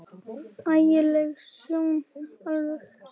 Ægi leg sjón alveg.